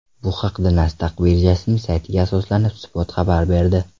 Bu haqda Nasdaq birjasining saytiga asoslanib, Spot xabar berdi .